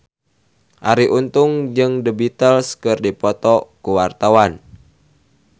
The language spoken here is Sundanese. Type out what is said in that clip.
Arie Untung jeung The Beatles keur dipoto ku wartawan